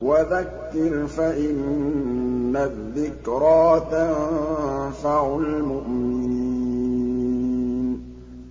وَذَكِّرْ فَإِنَّ الذِّكْرَىٰ تَنفَعُ الْمُؤْمِنِينَ